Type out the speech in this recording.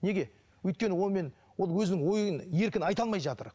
неге өйткені онымен ол өзінің ойын еркін айта алмай жатыр